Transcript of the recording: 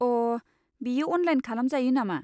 अ', बेयो अनलाइन खालामजायो नामा?